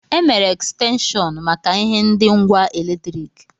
E mere Ekstenshọnu maka ihe ndi ngwa eletriki.